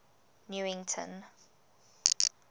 newington